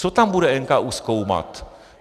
Co tam bude NKÚ zkoumat?